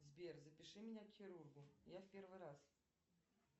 сбер запиши меня к хирургу я в первый раз